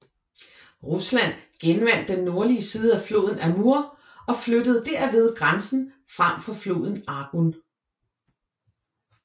Rusland genvandt den nordlige siden af floden Amur og flyttede derved grænsen frem fra floden Argun